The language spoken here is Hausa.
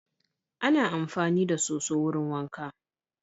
Ana amfani da so_so wurin wanka